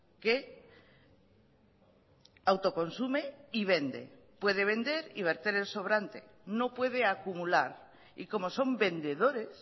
que autoconsume y vende puede vender y verter el sobrante no puede acumular y como son vendedores